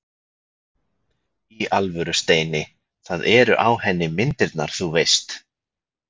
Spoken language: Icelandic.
Í alvöru, Steini. það eru á henni myndirnar þú veist.